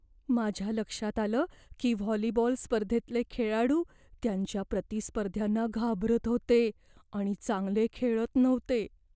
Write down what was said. माझ्या लक्षात आलं की व्हॉलीबॉल स्पर्धेतले खेळाडू त्यांच्या प्रतिस्पर्ध्यांना घाबरत होते आणि चांगले खेळत नव्हते.